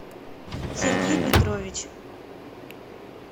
сергей петрович